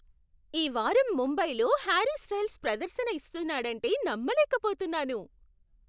ఈ వారం ముంబైలో హ్యారీ స్టైల్స్ ప్రదర్శన ఇస్తున్నాడంటే నమ్మలేకపోతున్నాను.